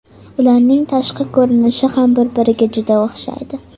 Ularning tashqi ko‘rinishi ham bir-biriga juda o‘xshaydi.